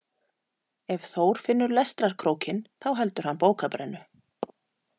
Ef Þór finnur lestrarkrókinn þá heldur hann bókabrennu